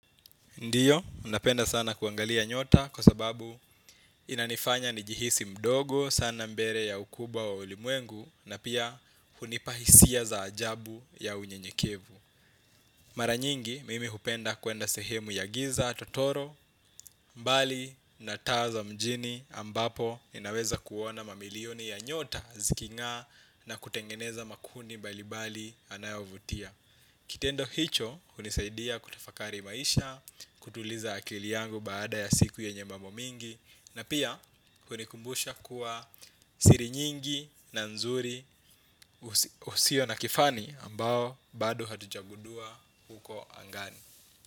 Ndiyo, napenda sana kuangalia nyota kwa sababu inanifanya nijihisi mdogo sana mbele ya ukubwa wa ulimwengu na pia hunipa hisia za ajabu ya unyenyekevu. Mara nyingi, mimi hupenda kuenda sehemu ya giza, totoro, mbali na taa za mjini ambapo ninaweza kuona mamilioni ya nyota zikingaa na kutengeneza makundi mbalibali anayovutia. Kitendo hicho, hunisaidia kutafakari maisha, kutuliza akili yangu baada ya siku yenye mambo mingi, na pia hunikumbusha kuwa siri nyingi na nzuri usio na kifani ambao bado hatujagundua huko angani.